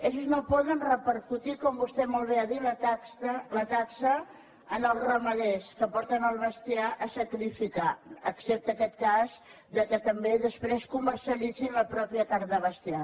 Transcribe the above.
ells no poden repercutir com vostè molt bé ha dit la taxa als ramaders que porten el bestiar a sacrificar excepte aquest cas que també després comercialitzin la pròpia carn de bestiar